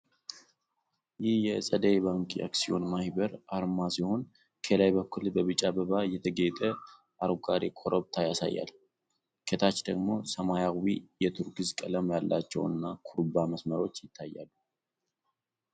ይህ የ'ጸደይ ባንክ አክሲዮን ማኅበር' አርማ ሲሆን፣ ከላይ በኩል በቢጫ አበባ የተጌጠ አረንጓዴ ኮረብታ ያሳያል። ከታች ደግሞ ሰማያዊና የቱርኪዝ ቀለም ያላቸው ኩርባ መስመሮች ይታያሉ።